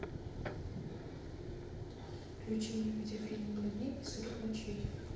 включи мне видеофильм ноль дней и сорок ночей